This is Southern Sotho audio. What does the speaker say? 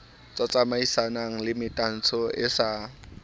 tsamaisanang le metantsho e sa